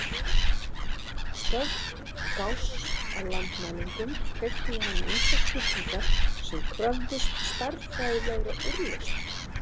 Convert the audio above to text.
Störf Gauss að landmælingum kveiktu hjá honum ýmsar spurningar sem kröfðust stærðfræðilegra úrlausna.